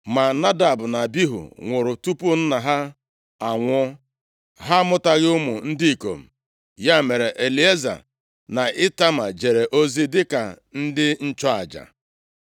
Ma Nadab na Abihu nwụrụ tupu nna ha anwụọ. Ha amụtaghị ụmụ ndị ikom, ya mere, Elieza na Itama jere ozi dịka ndị nchụaja.